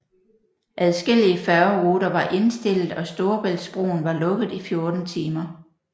Adskillige færgeruter var indstillet og Storebæltsbroen var lukket i 14 timer